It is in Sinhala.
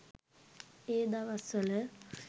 ඒ දවස්වල.